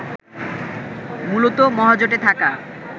মূলত মহাজোটে থাকা